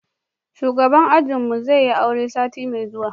shugaban ajin mu zai yi aure sati mai zuwa